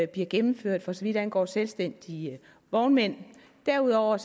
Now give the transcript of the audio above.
bliver gennemført for så vidt angår selvstændige vognmænd derudover